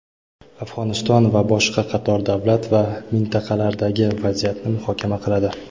Afg‘oniston va boshqa qator davlat va mintaqalardagi vaziyatni muhokama qiladi.